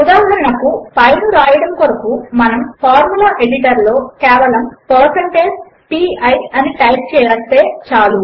ఉదాహరణకు పై ను వ్రాయడము కొరకు మనము ఫార్ములా ఎడిటర్ లో కేవలము160pi అని టైప్ చేస్తే చాలు